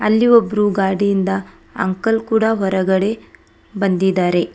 ಅಲ್ಲಿ ಒಬ್ರು ಗಾಡಿಯಿಂದ ಅಂಕಲ್ ಕೂಡ ಹೊರಗಡೆ ಬಂದಿದ್ದಾರೆ.